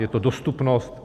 Je to dostupnost?